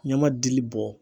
Ɲama dili bɔ.